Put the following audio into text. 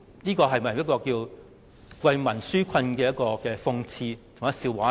在為民紓困而言，這豈不是一個諷刺和笑話嗎？